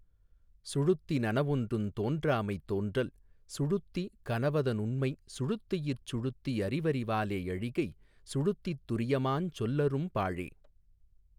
சுழுத்தி நனவொன்றுந் தோன்றாமை தோன்றல் சுழுத்தி கனவதனுண்மை சுழுத்தியிற் சுழுத்தி யறிவறி வாலே யழிகை சுழுத்தித் துரியமாஞ் சொல்லறும் பாழே.